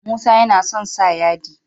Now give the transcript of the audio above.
Musa yAna son sa yadi